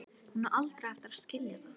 Hún á aldrei eftir að skilja það.